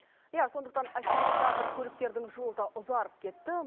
иә сондықтан ассенизатор көліктердің жолы да ұзарып кетті